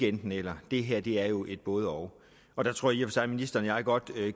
enten eller det her er jo et både og og der tror jeg sig at ministeren og jeg godt